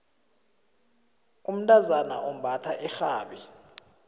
umntazana umbatha irhabi